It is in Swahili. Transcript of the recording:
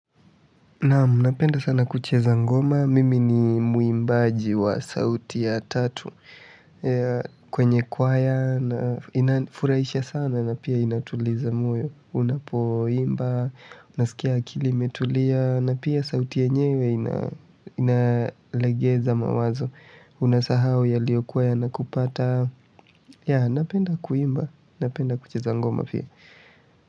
Naamu, napenda sana kucheza ngoma. Mimi ni mwimbaji wa sauti ya tatu. Kwenye kwaya, na inanifurahisha sana na pia inatuliza moyo. Unapoimba, unasikia akili imetulia, na pia sauti yenyewe inalegeza mawazo. Unasahau yalio kuwa yanakupata. Napenda kuimba, napenda kucheza ngoma pia.